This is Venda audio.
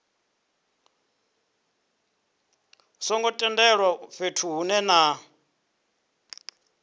songo tendelwaho fhethu hunwe na